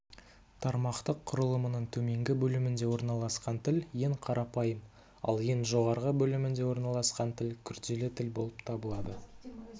тармақтық құрылымның төменгі бөлімінде орналасқан тіл ең қарапайым ал ең жоғарғы бөлімінде орналасқан тіл күрделі тіл болып табылады